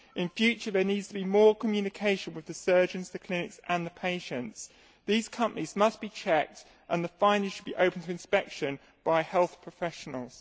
In future there needs to be more communication with the surgeons, the clinics and the patients. These companies must be checked and the findings should be open to inspection by health professionals.